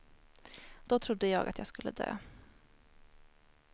Då trodde jag att jag skulle dö.